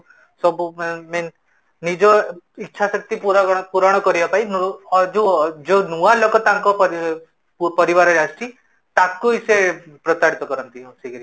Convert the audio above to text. ସବୁ ମାନେ means ନିଜ ଇଛାଶକ୍ତି ପୁର୍ଣ କରିବା ପାଇଁ ଯୋଉ ନୂଆ ଲୋକ ତାଙ୍କ ପରିବାରେ ଆସିଛି ତାକୁ ହିଁ ସେ ପ୍ରତାରିତ କରନ୍ତି ବସିକିରୀ